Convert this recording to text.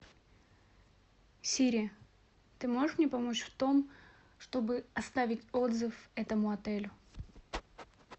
сири ты можешь мне помочь в том чтобы оставить отзыв этому отелю